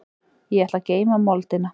Ég ætla að geyma moldina.